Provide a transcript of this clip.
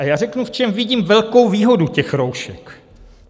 A já řeknu, v čem vidím velkou výhodu těch roušek.